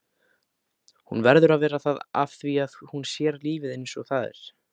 Hún verður að vera það afþvíað hún sér lífið einsog það er.